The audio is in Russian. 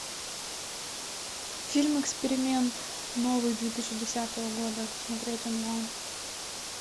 фильм эксперимент новый две тысячи десятого года смотреть онлайн